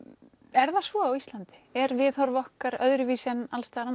er það svo á Íslandi er viðhorf okkar öðruvísi en alls staðar